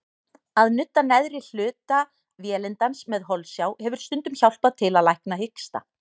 Að nudda neðri hluta vélindans með holsjá hefur stundum hjálpað til að lækna hiksta.